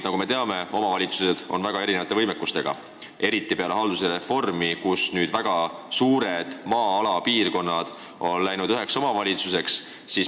Nagu me teame, omavalitsused on väga erineva võimekusega, eriti peale haldusreformi, kui väga suured piirkonnad on saanud üheks omavalitsuseks.